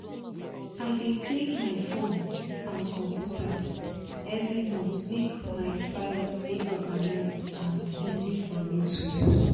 i dey clean my phone and computer every month make my files dey organised and easy for me to use